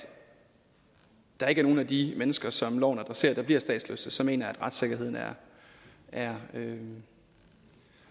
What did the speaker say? der ikke er nogen af de mennesker som loven adresserer der bliver statsløse så mener jeg at retssikkerheden er er